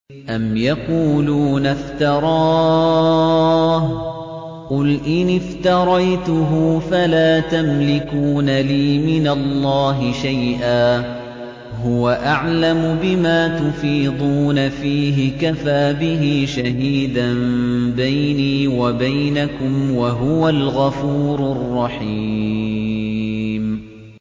أَمْ يَقُولُونَ افْتَرَاهُ ۖ قُلْ إِنِ افْتَرَيْتُهُ فَلَا تَمْلِكُونَ لِي مِنَ اللَّهِ شَيْئًا ۖ هُوَ أَعْلَمُ بِمَا تُفِيضُونَ فِيهِ ۖ كَفَىٰ بِهِ شَهِيدًا بَيْنِي وَبَيْنَكُمْ ۖ وَهُوَ الْغَفُورُ الرَّحِيمُ